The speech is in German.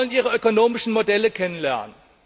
Wir wollen ihre ökonomischen Modelle kennenlernen.